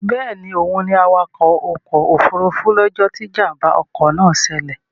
Bẹ́ẹ̀ni, òun ni awakọ̀ ọkọ̀ òfurufú ní ọjọ́ tí Ìjàm̀bá ọkọ̀ náà ṣẹlẹ̀